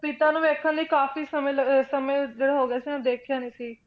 ਪਿਤਾ ਨੂੰ ਵੇਖਣ ਲਈ ਕਾਫ਼ੀ ਲ~ ਅਹ ਸਮੇਂ ਜਿਹੜਾ ਹੋ ਗਿਆ ਸੀ ਉਹਨੇ ਦੇਖਿਆ ਨੀ ਸੀ,